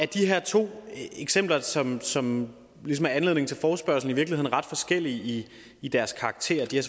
de her to eksempler som som ligesom er anledningen til forespørgslen i virkeligheden ret forskellige i deres karakter de har